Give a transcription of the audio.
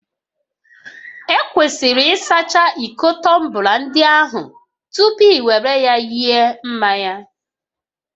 Ekwesịrị ịsacha iko tọmbla ndị ahụ tupu ị were ya nye mmanya